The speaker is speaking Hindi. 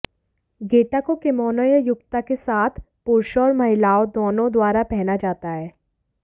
गेटा को किमोनो या युक्ता के साथ पुरुषों और महिलाओं दोनों द्वारा पहना जाता है